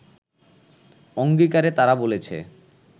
অংগীকারে তারা বলেছে